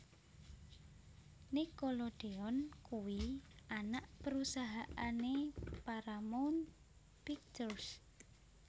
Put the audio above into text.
Nickelodeon kuwi anak perusahaan e Paramount Pictures